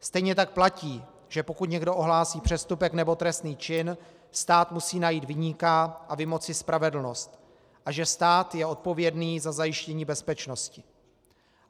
Stejně tak platí, že pokud někdo ohlásí přestupek nebo trestný čin, stát musí najít viníka a vymoci spravedlnost a že stát je odpovědný za zajištění bezpečnosti.